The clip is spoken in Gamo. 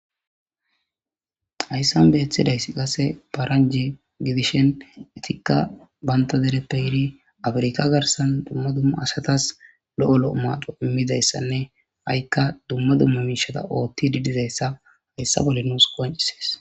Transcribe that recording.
Hayssan beeththidaysi qase paranji gidishen etikka banta dereppe yiiri afirika garsan dumma dumma asatas lo7o lo7o maado immidayssanne ha7ikka dumma dumma miishata oothti didizayssa hayssa bolle nuus qoncises.